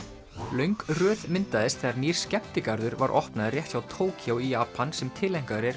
löng röð myndaðist þegar nýr skemmtigarður var opnaður rétt hjá Tókýó í Japan sem tileinkaður er